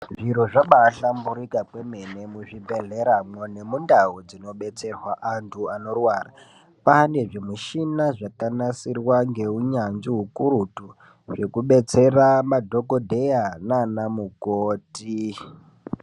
Zviro zvaba hlamburika kwemene muzvi bhedhleramwo nemundau dzinobetserwa antu anorwara. Kwane zvimichina zvakanasirwa ngeunyanzvi hukurutu zvekubetsera madhogodheya nana mukoti.